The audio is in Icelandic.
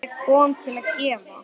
Ég kom til að gefa.